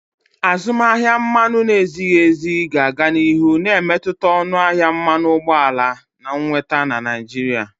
Azụmaahịa mmanụ na-ezighi ezi ga-aga n'ihu na-emetụta ọnụ ahịa mmanụ ụgbọala na nnweta na Naịjirịa.